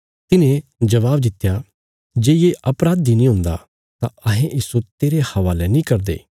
तिन्हें जबाब दित्या जे ये अपराधी नीं हुंदा तां अहें इस्सो तेरे हवाले नीं करदे